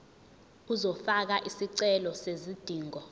uzofaka isicelo sezidingo